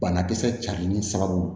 Banakisɛ carilen sababu